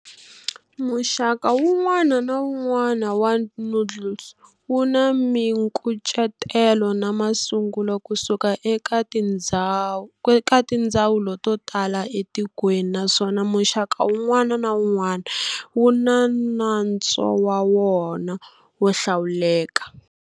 Muxaka wun'wana na wun'wana wa noodle wuna minkucetelo na masungulo kusuka eka tindzhawu totala etikweni naswona muxaka wun'wana na wun'wana wuna nantswo wa wona wo hlawuleka.